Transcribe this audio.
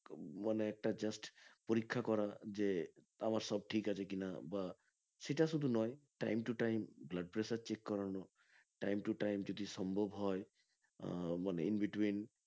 মানে একটা just পরীক্ষা করা যে আমার সব ঠিক আছে কিনা বা সেটা শুধু নয় time to time blood pressure check করানো time to time যদি সম্ভব হয় আহ মানে in between